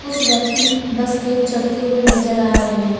कुछ व्यक्ति बस पे चढ़ते हुए नजर आ रहे हैं।